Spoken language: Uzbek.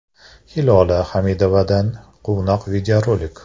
Hilola Hamidovadan quvnoq videorolik.